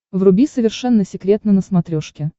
вруби совершенно секретно на смотрешке